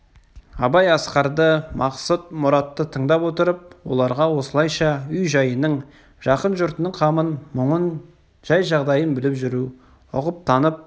абай асқарды мақсұт мұратты тыңдап отырып оларға осылайша үй-жайының жақын жұртының қамын мұңын жай-жағдайын біліп жүру ұғып танып